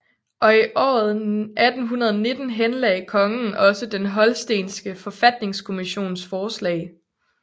Og i året 1819 henlagde kongen også den holstenske forfatningskommissions forslag